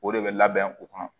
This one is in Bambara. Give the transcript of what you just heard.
O de bɛ labɛn u kɔnɔ